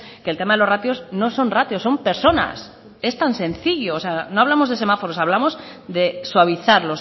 que el tema de los ratios no son ratios son personas es tan sencillo o sea no hablamos de semáforos hablamos de suavizar